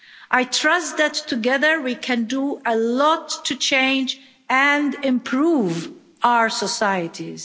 I trust that together, we can do a lot to change and improve our societies.